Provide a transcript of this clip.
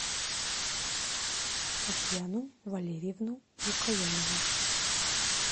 татьяну валерьевну лукоянову